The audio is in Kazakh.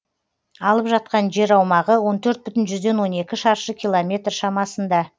алып жатқан жер аумағы он төрт бүтін жүзден он екі шаршы километр шамасында